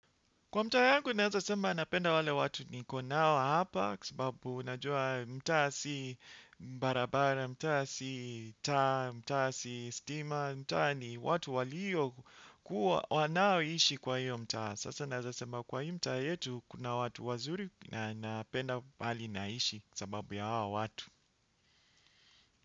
Kwa mtaa yangu naeza sema napenda wale watu niko nao hapa kwa sababu unajua mtaa si barabara, mtaa si taa, mtaa si stima, mtaa ni watu walio kuwa wanao ishi kwa hiyo mtaa. Sasa naeza sema kwa hiyo mtaa yetu kuna watu wazuri na napenda bali naishi kwa sababu ya hawa watu.